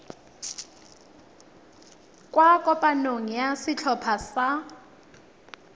kwa kopanong ya setlhopha sa